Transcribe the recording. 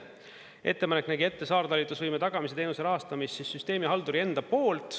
Ettepanek nägi ette saartalitlusvõime tagamise teenuse rahastamise süsteemihalduri enda poolt.